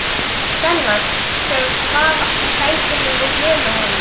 Svenna, sem svaf í sætinu við hliðina á honum.